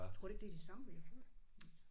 Tror du ikke det er de samme vi har fået?